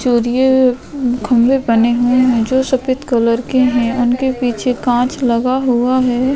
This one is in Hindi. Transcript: चोरिये खम्भे बने हुए है जो सफ़ेद कलर के है उनके पीछे कांच लगा हुआ है।